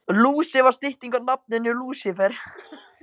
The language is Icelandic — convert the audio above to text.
Lúsi var stytting á nafninu Lúsífer.